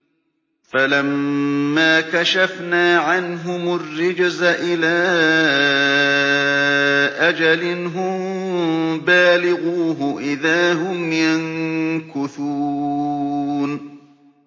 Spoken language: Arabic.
فَلَمَّا كَشَفْنَا عَنْهُمُ الرِّجْزَ إِلَىٰ أَجَلٍ هُم بَالِغُوهُ إِذَا هُمْ يَنكُثُونَ